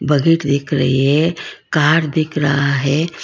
Bucket दिख रही है कार दिख रहा है।